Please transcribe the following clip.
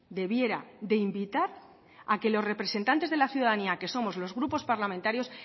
debiera de invitar a que los representantes de la ciudadanía que somos los grupos parlamentarios